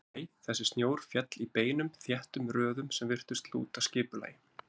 Nei, þessi snjór féll í beinum þéttum röðum sem virtust lúta skipulagi.